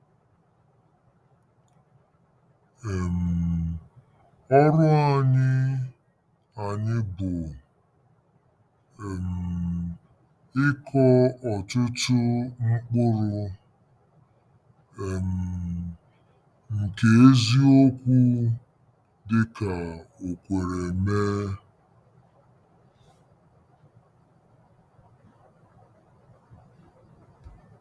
um Ọrụ anyị anyị bụ um ịkọ ọtụtụ mkpụrụ um nke eziokwu dị ka o kwere mee.